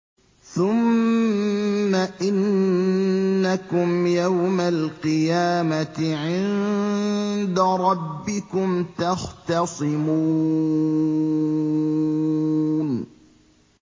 ثُمَّ إِنَّكُمْ يَوْمَ الْقِيَامَةِ عِندَ رَبِّكُمْ تَخْتَصِمُونَ